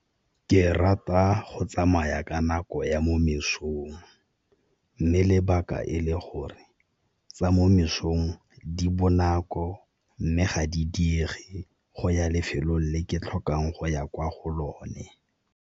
Ke rata go tsamaya ka nako ya mo mesong, mme lebaka e le gore tsa mo mesong di bonako mme ga di diege go ya lefelong le ke tlhokang go ya kwa go lone.